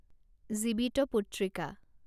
Jivitputrika